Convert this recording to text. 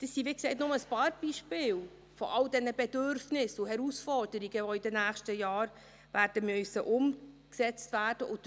Dies sind, wie gesagt, nur ein paar Beispiele von all diesen Bedürfnissen und Herausforderungen, die in den nächsten Jahren umgesetzt werden müssen.